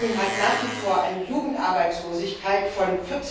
Spanien hat nach wie vor eine Jugendarbeitslosigkeit von